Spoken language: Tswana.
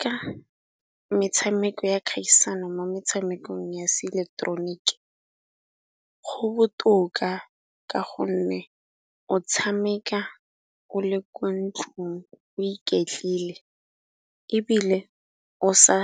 Ka metshameko ya kgaisano mo metshamekong ya se ileketeroniki, go botoka ka gonne o tshameka o le ko ntlong o iketlile ebile o sa